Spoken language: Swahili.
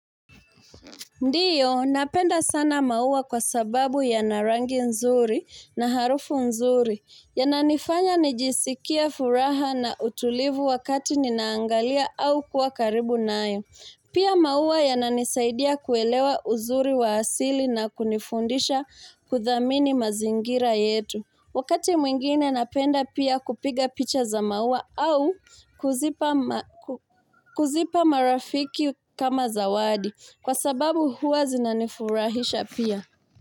Ndiyo, napenda sana maua kwa sababu yana rangi nzuri na harufu nzuri. Yananifanya nijisikia furaha na utulivu wakati ninaangalia au kuwa karibu nayo. Pia maua yananisaidia kuelewa uzuri wa asili na kunifundisha kuthamini mazingira yetu. Wakati mwingine napenda pia kupiga picha za maua au kuzipa marafiki kama zawadi. Kwa sababu huwa zinanifurahisha pia.